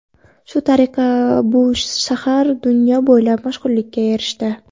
Shu tariqa bu shahar dunyo bo‘ylab mashhurlikka erishdi.